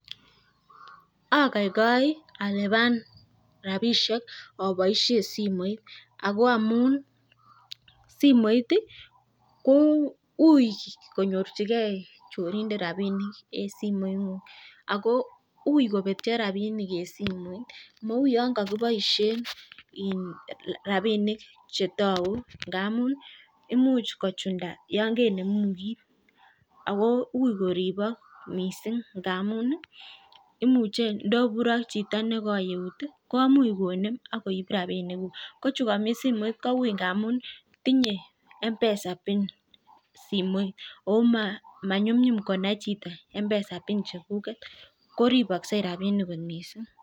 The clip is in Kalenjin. Ogoigoi alipan rapishek aboishe simoit. Ako amu simoit ko ui konyorchigei chorindet rapinik eng simoitnyu ako ui kopetcho rapinik eng simoit mau yon kakiboishe rapishek chetoku. Ngamun imuch kochunda yon kecheru kiit. Ako ui koripak mising ngamun imuche ndobure ak chito ne koi eut komuch konem ak koip rapinikuk. ko chu kami simoit, ko ui ndamun tinyei mpesa pin simoit ako manyumnyum konai chito mpesa pin chekuget. Ko reposkei rapinik kot mising.